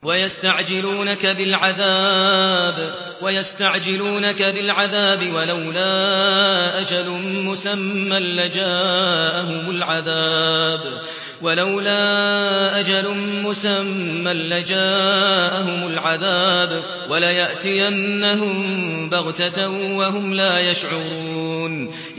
وَيَسْتَعْجِلُونَكَ بِالْعَذَابِ ۚ وَلَوْلَا أَجَلٌ مُّسَمًّى لَّجَاءَهُمُ الْعَذَابُ وَلَيَأْتِيَنَّهُم بَغْتَةً وَهُمْ لَا يَشْعُرُونَ